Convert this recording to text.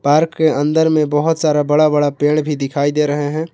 Park के अंदर में बहोत सारा बड़ा बड़ा पेड़ भी दिखाई दे रहे हैं।